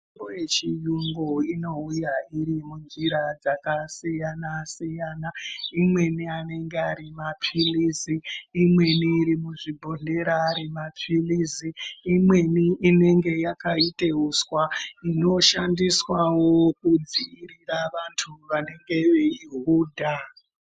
Mitombo yechiyungu inouya iri munjira dzakasiyana-siyana. Imweni anenge ari maphilizi , imweni iri muzvibhodhlera yemaphilizi, imweni inenge yakaite uswa, inoshandiswawo kudzivirira vantu vanenge veihudha.